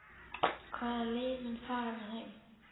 Hvaða lið mun fara með þeim?